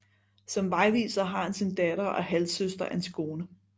Som vejviser har han sin datter og halvsøster Antigone